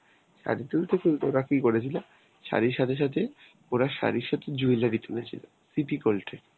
শাড়ী তুলতে তুলতে ওরা কি করেছিল শাড়ির সাথে সাথে ওরা শাড়ির সাথে jewellery তুলেছিল, সিটি গোল্ড এর.